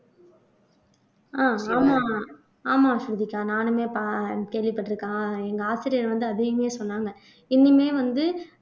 ஆஹ் ஆமா ஆமா ஸ்ருதிகா நானுமே ப கேள்விப்பட்டிருக்கோம் எங்க ஆசிரியர் வந்து அதையுமே சொன்னாங்க இன்னியுமே வந்து